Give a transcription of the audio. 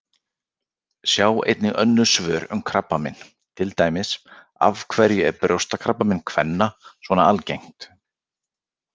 Sjá einnig önnur svör um krabbamein, til dæmis: Af hverju er brjóstakrabbamein kvenna svona algengt?